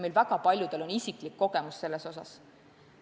Meist väga paljudel on isiklik kogemus selles osas.